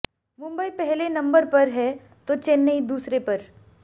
मुंबई पहले नंबर पर है तो चेन्नई दूसरे पर